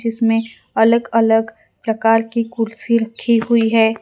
इसमें अलग अलग प्रकार की कुर्सी रखी हुई है।